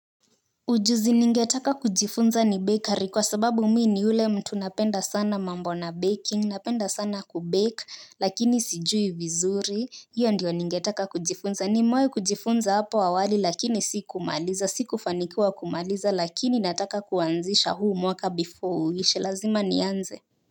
Ujuzi ningetaka kujifunza ni bakery kwa sababu mimi ni yule mtu napenda sana mambo na baking napenda sana kubake lakini sijui vizuri hiyo ndiyo ningetaka kujifunza nimewai kujifunza hapo awali lakini si kumaliza si kufanikuwa kumaliza lakini nataka kuanzisha huu mwaka before uishelazima nianze.